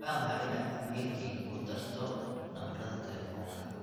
waxaan jeclaan lahaa inaad iimaylkayga ku darto lambarada telefoonka